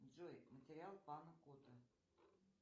джой материал панна котта